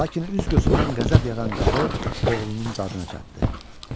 Lakin üz-gözündən qəzəb yağan qarı oğlunun dadına çatdı.